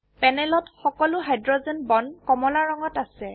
পেনেলত সকলো hydrogen bond কমলা ৰঙত আছে